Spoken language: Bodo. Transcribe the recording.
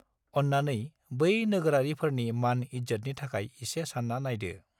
अन्नानै बै नोगोरारिफोरनि मान- इज्जदनि थाखाय एसे सानना नायदो।